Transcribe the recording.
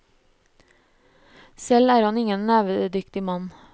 Selv er han ingen nevenyttig mann.